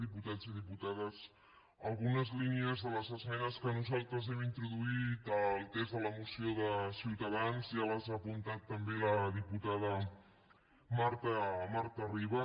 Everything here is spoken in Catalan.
diputats i diputades algunes línies de les esmenes que nosaltres hem introduït al text de la moció de ciutadans ja les ha apuntades també la diputada marta ribas